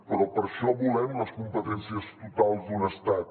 però per això volem les competències totals d’un estat